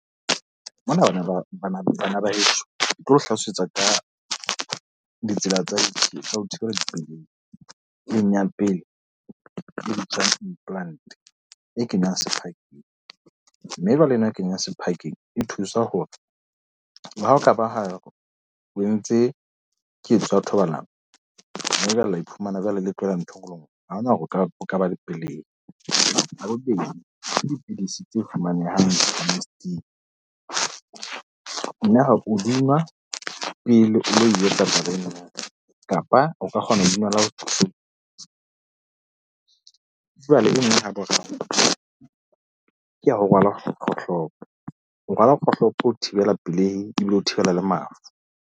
bana ba heso ke tlo le hlalosetsa ka ditsela tsa ditjhelete tsa ho thibelapelei e kenngwang pele Implant e kenywang sephakeng. Mme jwale ena e kenywang sephakeng e thusa hore le ha e ka ba ha o entse ketso ya thobalano. Mme jwale la iphumana jwale le . Ha hona hore o ka o ka ba le pelehi . Jwale e meng ya boraro ke ho rwala kgohlopo o rwala kgohlopo ho thibela pelehi ebile le ho thibela le mafu.